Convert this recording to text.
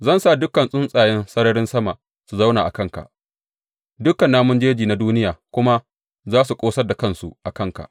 Zan sa dukan tsuntsayen sararin sama su zauna a kanka dukan namun jeji na duniya kuma za su ƙosar da kansu a kanka.